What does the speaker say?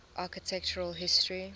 architectural history